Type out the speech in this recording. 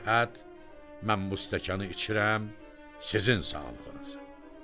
Mən bu stəkanı içirəm sizin sağlığınıza.